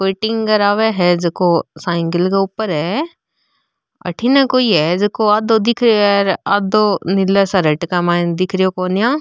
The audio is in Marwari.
कोई टिंगर आव है झको साइकिल के ऊपर है अठन कोई है झको आधों दिख रो है र आधे नील शर्ट के माइन दिख रो कोन्या।